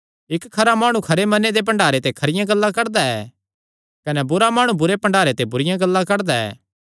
इक्क खरा माणु खरे मने दे भण्डारे ते खरियां गल्लां कड्डदा ऐ कने बुरा माणु बुरे भण्डारे ते बुरिआं गल्लां कड्डदा ऐ